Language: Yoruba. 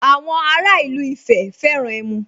Àwọn ara ìlú Ifẹ̀ fẹ́ràn ẹmu